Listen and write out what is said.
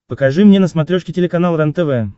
покажи мне на смотрешке телеканал рентв